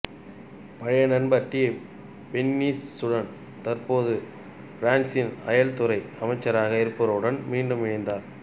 பழைய நண்பர் டி பெர்னிஸ்சுடன் தற்போது பிரான்ஸ்சின் அயல் துறை அமைச்சராக இருப்பவருடன் மீண்டும் இனைந்தார்